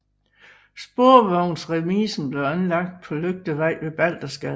Sporvognsremisen blev anlagt på Lygtevej ved Baldersgade